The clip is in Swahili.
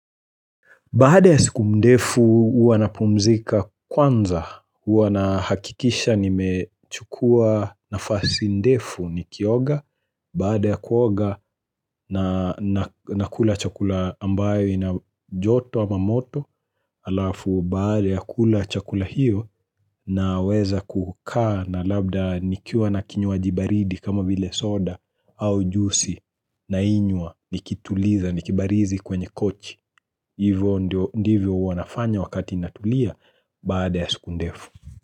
Baada ya siku ndefu uwa na pumzika kwanza, uwa na hakikisha ni mechukua nafasi ndefu ni kioga, baada ya kuoga na kula chakula ambayo ina joto ama moto, alafu baada ya kula chakula hiyo na weza kukaa na labda nikiuwa na kinyuwa jibaridi kama bile soda au jusi na inywa nikituliza nikibarizi kwenye kochi. Hivyo ndivyo wanafanya wakati natulia bada ya siku ndefu.